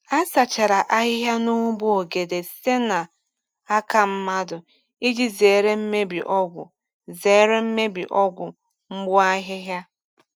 A sachara ahịhịa n’ugbo ogede site n’aka mmadụ iji zere mmebi ọgwụ zere mmebi ọgwụ mgbu ahịhịa.